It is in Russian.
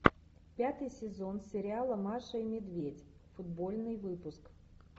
пятый сезон сериала маша и медведь футбольный выпуск